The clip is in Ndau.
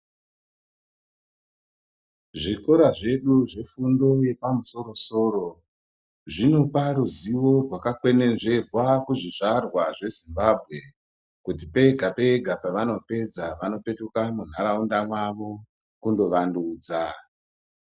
Zvikora zvedu zve fundo yepa musoro soro zvinopa ruzivo rwaka kwenenzverwa kuzvizvarwa zve Zimbabwe kuti pega pega pavanopedza vano petuka mu ndaraunda mwavo kundo wandudza.